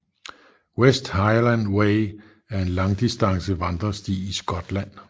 West Highland Way er en langdistance vandresti i Skotland